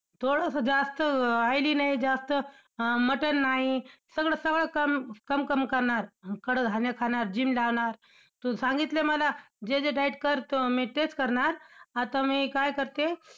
थोडसं जास्त oily नाही जास्त, अं मटण नाही, सगळं सगळं कमी कम-कम करणार, कडधान्य खाणार gym जाणार, तू सांगितलं मला जे जे diet कर, मी तेच करणार. आता मी काय करते?